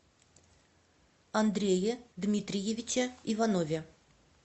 андрее дмитриевиче иванове